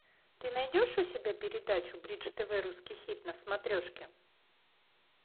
ты найдешь у себя передачу бридж тв русский хит на смотрешке